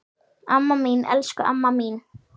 Amma mín, elsku amma mín.